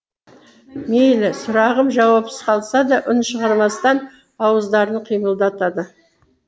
мейлі сұрағым жауапсыз қалса да үн шығармастан ауыздарын қимылдатады